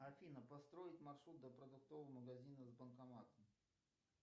афина построить маршрут до продуктового магазина с банкоматом